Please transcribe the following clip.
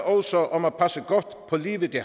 også om at passe godt på livet i